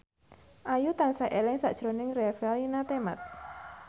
Ayu tansah eling sakjroning Revalina Temat